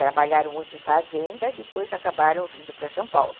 Trabalharam muito em fazenda, depois acabaram vindo para São Paulo.